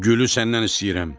Gülü səndən istəyirəm.